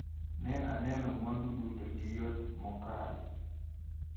Ne aneno mwandu duto gi yot mokalo.